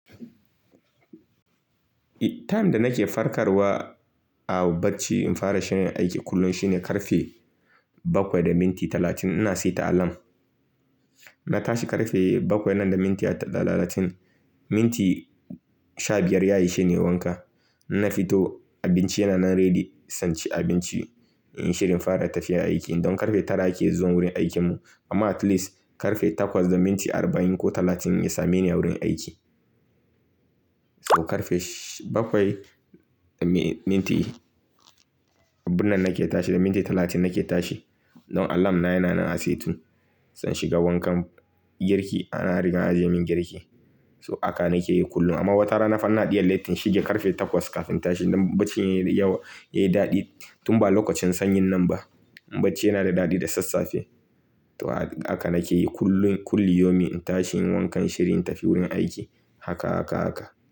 Time da nake farkarwa a barci in fara shirin aiki kullum shine ƙarfe bakwai da minti talatin. Ina saita alarm. Na tashi ƙarfe bakwai nan da mintiya da talatin. Minti sha biyar ya ishe ni wanka. Na fito, abinci yana nan ready zanchi abinci, inyi shirin fara tafiya aiki. Don ƙarfe tara ake zuwan wurin aikin mu amma at least ƙarfe takwas da minti arba'in ko talatin ya same ni a wurin aiki. Ƙarfe bakwai da mi-minti, abin nan nake tashi da minti talatin nake tashi. Don alarm na yana nan a setun. Zan shiga wankan girki ana riga ajiyemin girki. So haka nake yi kullum amma wata rana fa ina iya late in shiga ƙarfe takwas kafin tashi don barci yayi yawa, yayi daɗi tun ba lokacin sanyin nan ba. Barci yana da daɗi da sassafe. Toh haka nake yi kullum, kulli yomi in tashi inyi wankan shirin tafi wurin aiki. Haka, haka, haka.